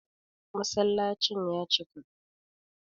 Masallacin ya cika